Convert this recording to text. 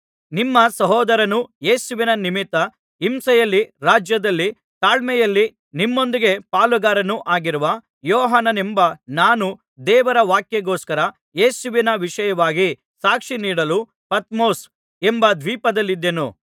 ನಿಮ್ಮ ಸಹೋದರನೂ ಯೇಸುವಿನ ನಿಮಿತ್ತ ಹಿಂಸೆಯಲ್ಲಿ ರಾಜ್ಯದಲ್ಲಿ ತಾಳ್ಮೆಯಲ್ಲಿ ನಿಮ್ಮೊಂದಿಗೆ ಪಾಲುಗಾರನೂ ಆಗಿರುವ ಯೋಹಾನನೆಂಬ ನಾನು ದೇವರ ವಾಕ್ಯಕ್ಕೋಸ್ಕರ ಯೇಸುವಿನ ವಿಷಯವಾಗಿ ಸಾಕ್ಷಿ ನೀಡಲು ಪತ್ಮೊಸ್ ಎಂಬ ದ್ವೀಪದಲ್ಲಿದ್ದೆನು